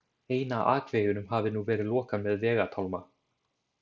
Eina akveginum hafi nú verið lokað með vegatálma.